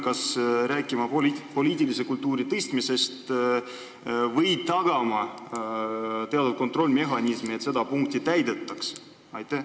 Kas me peame rääkima poliitilise kultuuri parandamisest või tagama teatud kontrollmehhanismi, et seda punkti täidetaks?